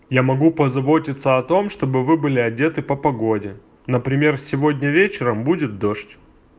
я могу позаботиться о том чтобы вы были одеты по погоде например сегодня вечером будет дождь